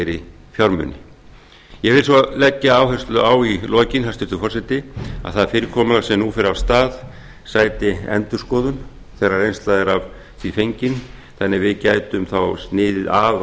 lagabreytingu ég vil svo leggja áherslu á í lokin hæstvirtur forseti að það fyrirkomulag sem nú fer af stað sæti endurskoðun þegar reynsla er af því fengin þannig að við gætum þá sniði af